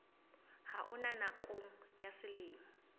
ha ona nakong ya selemo